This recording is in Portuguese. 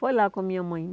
Foi lá com a minha mãe.